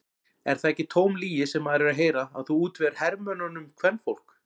Er það ekki tóm lygi sem maður er að heyra að þú útvegir hermönnunum kvenfólk?